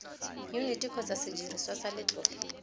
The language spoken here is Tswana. yuniti kgotsa sediriswa sa letlole